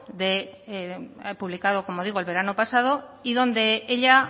que ha publicado como digo el verano pasado y donde ella